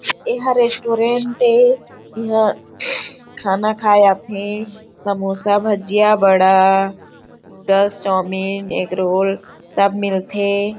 एह रेस्टुरेंट ए यहाँ खाना खाये आथे समोसा भजिया बड़ा नूडल्स चौमिन एग रोल सब मिलथे।